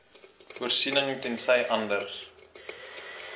voorsiening tensy anders